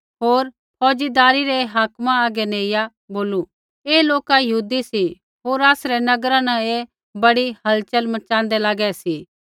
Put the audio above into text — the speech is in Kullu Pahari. होर फौज़दारी रै हाकिमा हागै नेइया बोलू ऐ लोका यहूदी सी होर आसरै नगरा न ऐ बड़ी हलचल मच़ाँदै लागै सी